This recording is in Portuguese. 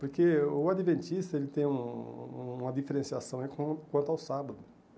Porque o Adventista, ele tem um uma diferenciação é com quanto ao sábado.